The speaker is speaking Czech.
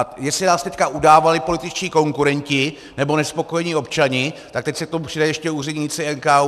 A jestli nás teď udávali političtí konkurenti nebo nespokojení občané, tak teď se k tomu přidají ještě úředníci NKÚ.